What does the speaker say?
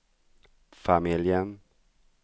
familjen